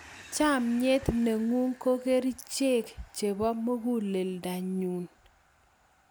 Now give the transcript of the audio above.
chamiet ne ng'un ko kerichek chebo munguleldo ne nyun